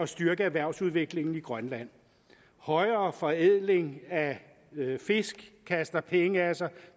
styrke erhvervsudviklingen i grønland højere forædling af fisk kaster penge af sig